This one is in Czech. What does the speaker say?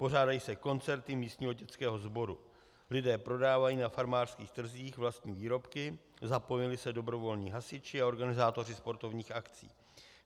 Pořádají se koncerty místního dětského sboru, lidé prodávají na farmářských trzích vlastní výrobky, zapojují se dobrovolní hasiči a organizátoři sportovních akcí.